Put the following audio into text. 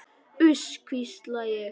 Uss, hvísla ég.